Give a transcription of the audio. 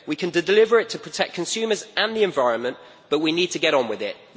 We can deliver it to protect consumers and the environment, but we need to get on with it.